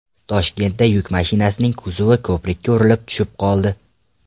Toshkentda yuk mashinasining kuzovi ko‘prikka urilib tushib qoldi.